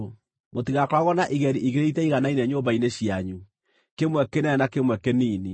Mũtigakoragwo na igeri igĩrĩ itaiganaine nyũmba-inĩ cianyu, kĩmwe kĩnene na kĩmwe kĩnini.